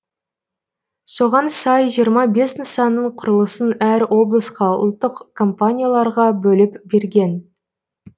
соған сай жиырма бес нысанның құрылысын әр облысқа ұлттық компанияларға бөліп берген